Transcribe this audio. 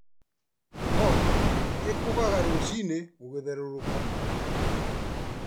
Njogoo ĩkũgaga rũciinĩ gũgĩthererũka.